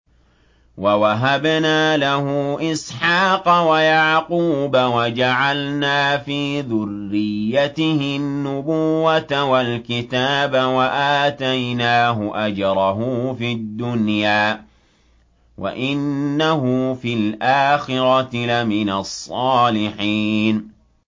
وَوَهَبْنَا لَهُ إِسْحَاقَ وَيَعْقُوبَ وَجَعَلْنَا فِي ذُرِّيَّتِهِ النُّبُوَّةَ وَالْكِتَابَ وَآتَيْنَاهُ أَجْرَهُ فِي الدُّنْيَا ۖ وَإِنَّهُ فِي الْآخِرَةِ لَمِنَ الصَّالِحِينَ